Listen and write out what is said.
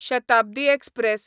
Shatabdi express